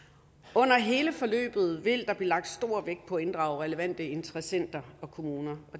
under hele forløbet vil der blive lagt stor vægt på at inddrage relevante interessenter og kommuner